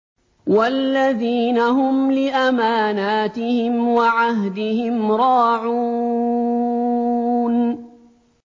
وَالَّذِينَ هُمْ لِأَمَانَاتِهِمْ وَعَهْدِهِمْ رَاعُونَ